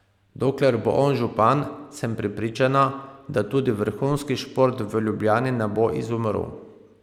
Dokler bo on župan, sem prepričana, da tudi vrhunski šport v Ljubljani ne bo izumrl.